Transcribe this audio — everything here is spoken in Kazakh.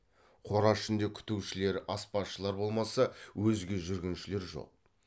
қора ішінде күтушілер аспазшылар болмаса өзге жүргіншілер жоқ